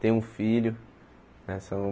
Têm um filho. Né são